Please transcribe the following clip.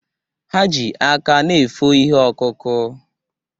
Ha ji aka na efo ihe ọkụkụ.